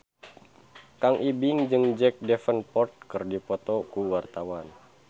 Kang Ibing jeung Jack Davenport keur dipoto ku wartawan